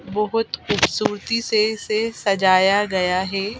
बहोत खूबसूरती से इसे सजाया गया है।